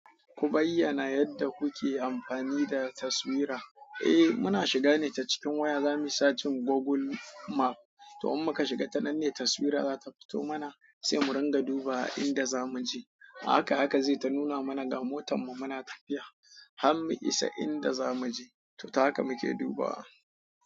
Ku bayyana yadda kuke amfani da taswira. E muna shiga ne ta cikin waya zamu yi sacin google map to in muka shiga ta nan ne taswira za ta fito mana sai mu ringa duba inda zamu je. Ahaka ahaka zai ta nuna mana ga motan mu muna tafiya har mu isa inda zamu je. To ta haka muke duba wa.